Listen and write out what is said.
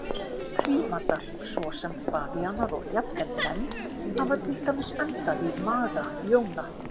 Prímatar svo sem bavíanar og jafnvel menn hafa til dæmis endað í maga ljóna.